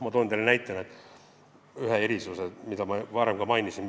Toon teile näiteks ühe erisuse, mida ma juba mainisin.